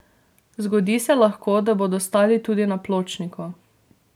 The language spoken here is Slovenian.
Zgodi se lahko, da bodo stali tudi na pločniku.